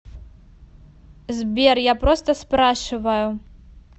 сбер я просто спрашиваю